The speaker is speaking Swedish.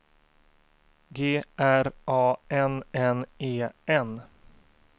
G R A N N E N